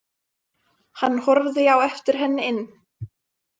Hann horfði á eftir henni inn.